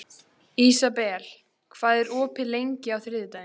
Ísabel, hvað er opið lengi á þriðjudaginn?